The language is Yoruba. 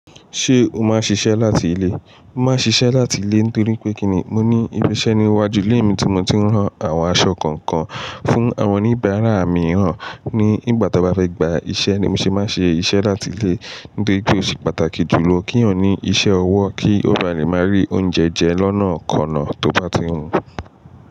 Ṣé o máa ṣiṣẹ́ láti ilé? Mo máa ṣiṣẹ́ láti ilé nítorí pé kíni mo ní ibi iṣẹ́ ní iwájú ilé mi tí mo ti ń rán àwọn aṣọ kọ̀ọ̀kan fún àwọn oníbàárà mìíràn. Ní ìgbà tí wọ́n bá fẹ́ gba iṣẹ́ ni mo ṣe máa ṣe iṣẹ́ láti ilé nítorí pé ó ṣe pàtàkì jùlọ kí èyàn ní iṣẹ́ ọwọ́ kí ó ba lè máa rí oúnjẹ jẹ lọ́nà kan náà tó bá ti ń hun.